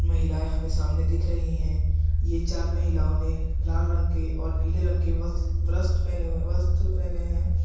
महिलाएं हमें सामने दिख रही हैं ये चार महिलाओं ने लाल रंग के और नीले रंग के वस वास्त वस्त्र पहने हैं।